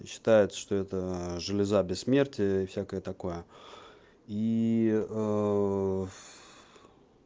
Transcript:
и считает что эта железа бессмертия и всякое такое и